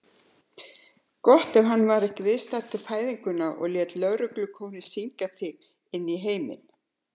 Gott ef hann var ekki viðstaddur fæðinguna og lét lögreglukórinn syngja þig inní heiminn.